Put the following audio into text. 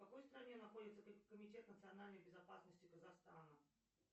в какой стране находится комитет национальной безопасности казахстана